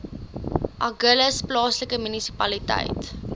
agulhas plaaslike munisipaliteit